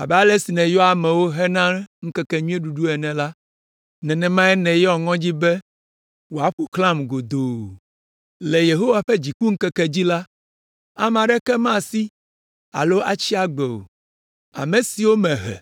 “Abe ale si nèyɔa amewo hena ŋkekenyuiɖuɖu ene la, nenemae nèyɔ ŋɔdzi be wòaƒo xlãm godoo. Le Yehowa ƒe dzikuŋkekea dzi la, ame aɖeke mesi alo tsi agbe o. Ame siwo mehe